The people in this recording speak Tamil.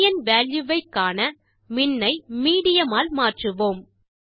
மீடியன் வால்யூ வை காண மின் ஐ மீடியன் ஆல் மாற்றுவோம்